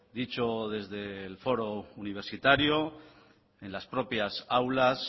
dicho desde el foro universitario en las propias aulas